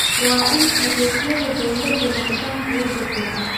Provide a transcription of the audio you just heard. Waa in adeegyada dawladdu noqdaan kuwo degdeg ah.